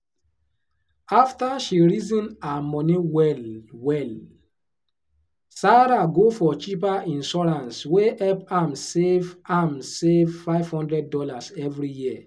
after she reason her money well-well sarah go for cheaper insurance wey help am save am save five hundred dollars every year.